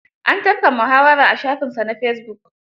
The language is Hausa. An tafka muhawara a shafinsa na fesibuk.